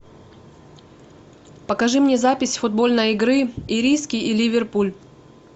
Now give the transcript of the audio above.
покажи мне запись футбольной игры ириски и ливерпуль